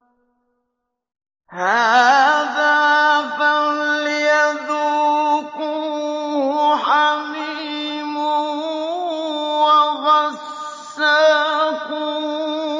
هَٰذَا فَلْيَذُوقُوهُ حَمِيمٌ وَغَسَّاقٌ